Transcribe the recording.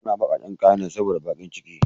Ana bakaken kayane sabo bakiciki